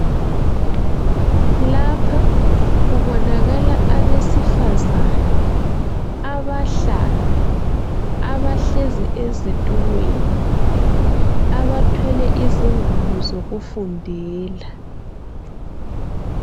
Lapha kubonakala abesifazane abahlanu, abahlezi ezitulweni, abathwele izingwalo zokufundela.